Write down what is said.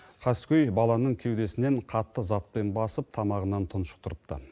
қаскөй баланың кеудесінен қатты затпен басып тамағынан тұншықтырыпты